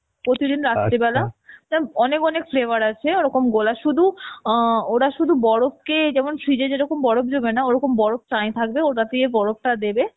প্রতিদিন যেরম অনেক অনেক flavour আছে ওরকম গোলা সুধু অ্যাঁ ওরা সুধু বরফ কে, যেমন fridge এ যেরকম বরফ জমে না ওরকম বরফ চায়িন থাকবে, ওটা দিয়ে বরফ টা দেবে